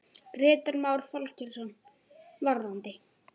Grétar Már Þorkelsson: Varðandi?